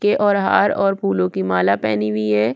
के और हार और फुलो की माला पेहनी हुई है।